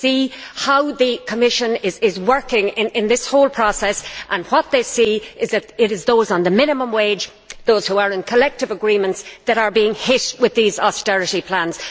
They see how the Commission is working in this whole process, and what they see is that it is those on the minimum wage, those who are in collective agreements, are being hit with these austerity plans.